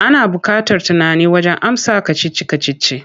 Ana buƙatar tunani wajen amsa kacici-kacici.